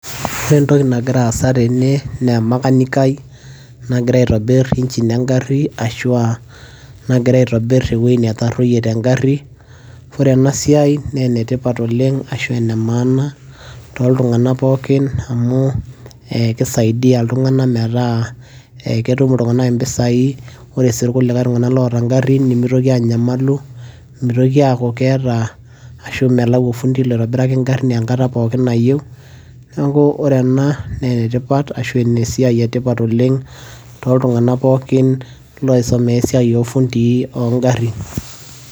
ore entoki nagira aasa tene naa emakanikai nagira aitobirr engine engarri ashua nagira aitobirr ewueji netarruoyie tengarri ore ena siai naa enetipat oleng ashu ene maana toltung'anak pookin amu ekisaidia iltung'anak metaa eketum iltung'anak impisai ore sii irkulikae tung'anak loota ingarrin nimitoki anyamalu mitoki aku keeta ashu melau ofundi loitobiraki ingarrin enkata pookin nayieu niaku ore ena naa enetipat ashu enesiai etipat oleng toltung'anak pokin loisomea esiai ofundii ongarrin.